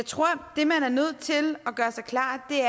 tror at det man er nødt til at gøre sig klart er